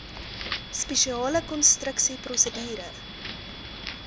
spesiale konstruksie prosedure